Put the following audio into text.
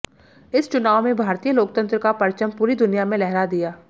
इस चुनाव में भारतीय लोकतंत्र का परचम पूरी दुनिया में लहरा दिया